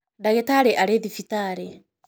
Ndagitarĩ arĩ thibitarĩ.